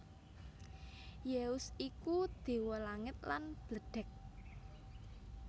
Zeus iku déwa langit lan bledhèg